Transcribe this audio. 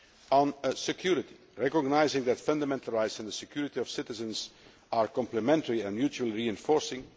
On security recognising that fundamental rights and the security of citizens are complementary and mutually reinforcing